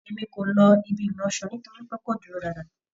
E mí ko ló ibi ìlọṣọ nítorípé kò dúró dáadáa